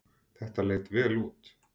Þetta leit vel út.